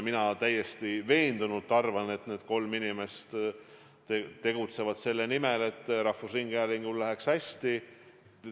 Mina arvan täiesti veendunult, et need kolm inimest tegutsevad selle nimel, et rahvusringhäälingul läheks hästi.